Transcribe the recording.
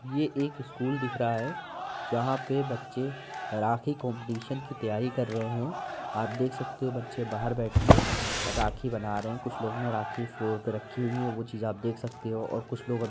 ये एक स्कूल दिख रहा है जहां पे बच्चे राखी काम्पिटिशन की तैयारी कर रहे हैं। आप देख सकते हो बच्चे बाहर बैठ के राखी बना रहे हैं। कुछ लोग ने राखी फ्लोर पर रखी हुई है वो चीज आप देख सकते हो और कुछ लोग --